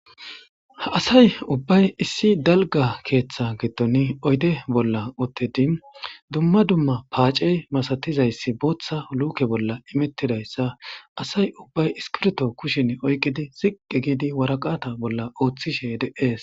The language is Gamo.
asay ubbay issi dalga keeththa gitton oyde bolla ottedi dumma dumma paace masatizayssi booththa luke bolla imittidayssa asay ubbay iskirto kushin oyqidi siqqi giidi waraqata bolla ooththishe de7ees